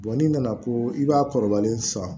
n'i nana ko i b'a kɔrɔbalen san